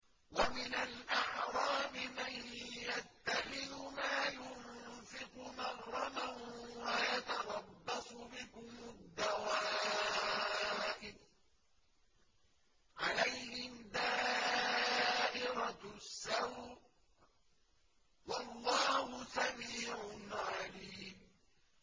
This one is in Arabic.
وَمِنَ الْأَعْرَابِ مَن يَتَّخِذُ مَا يُنفِقُ مَغْرَمًا وَيَتَرَبَّصُ بِكُمُ الدَّوَائِرَ ۚ عَلَيْهِمْ دَائِرَةُ السَّوْءِ ۗ وَاللَّهُ سَمِيعٌ عَلِيمٌ